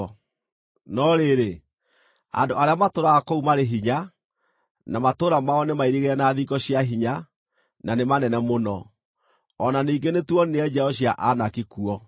No rĩrĩ, andũ arĩa matũũraga kũu marĩ hinya, na matũũra mao nĩmairigĩre na thingo cia hinya, na nĩ manene mũno. O na ningĩ nĩtuonire njiaro cia Anaki kuo.